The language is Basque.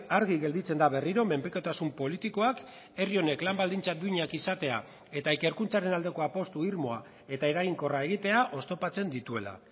argi gelditzen da berriro menpekotasun politikoak herri honek lan baldintza duinak izatea eta ikerkuntzaren aldeko apustu irmoa eta eraginkorra egitea oztopatzen dituela